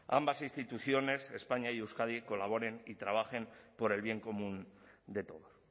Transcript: ambas instituciones españa y euskadi colaboren y trabajen por el bien común de todos